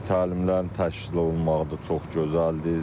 Təlimlərin təşkil olunmağı da çox gözəldir.